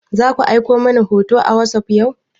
Zaku aiko mani hoto a wasop yau?